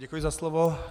Děkuji za slovo.